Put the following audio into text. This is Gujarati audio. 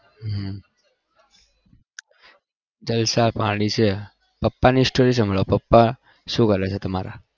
હમ જલસા પાણી છે પપ્પા શું કરે છે તમારા